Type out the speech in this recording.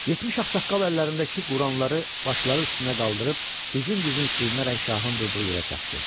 70 ağsaqqal əllərindəki Quranları başları üstünə qaldırıb dizin-dizin sürünərək şahın durduğu yerə çatdı.